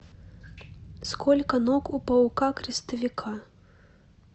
сколько ног у паука крестовика